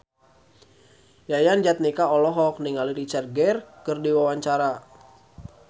Yayan Jatnika olohok ningali Richard Gere keur diwawancara